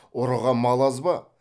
ұрыға мал аз ба